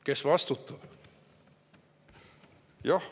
Kes vastutab?